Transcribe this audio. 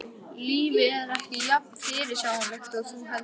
Lífið er ekki jafn fyrirsjáanlegt og þú heldur.